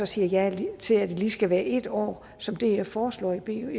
siger ja til at det lige skal være en år som df foreslår i b en